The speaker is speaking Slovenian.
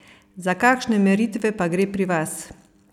Za kakšne meritve pa gre pri vas?